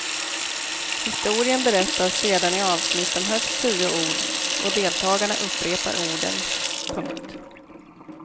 Historien berättas sedan i avsnitt om högst tio ord och deltagarna upprepar orden. punkt